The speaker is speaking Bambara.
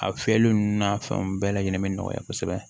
A fiyɛli ninnu n'a fɛnw bɛɛ lajɛlen be nɔgɔya kosɛbɛ